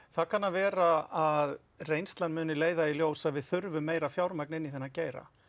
það kann að vera að reynslan vilji leiða í ljós að við þurfum meira fjármagn inn í þennan geira